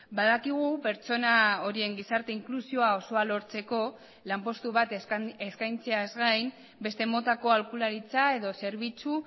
badakigu pertsona horien gizarte inklusioa osoa lortzeko lanpostu bat eskaintzeaz gain beste motako aholkularitza edo zerbitzu